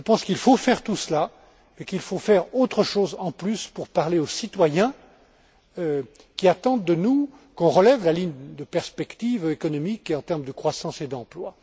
Je pense qu'il faut faire tout cela, mais il faut faire davantage encore pour parler aux citoyens, qui attendent de nous qu'on relève la ligne de perspective économique, en termes de croissance et d'emploi.